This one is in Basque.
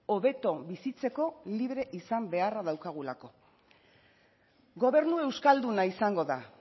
hobeto bizitzeko libre izan beharra daukagulako gobernu euskalduna izango da